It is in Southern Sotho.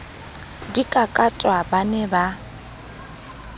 di kakatwa ba ne ba